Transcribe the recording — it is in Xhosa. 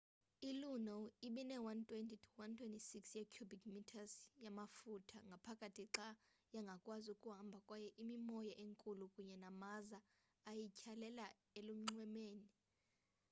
iluno ibine-120-160 ye-cubic metres yamaftuha ngaphakathi xa yangakwazi ukuhamba kwaye imimoya enkulu kunye namaza ayityhalela elunxwemeni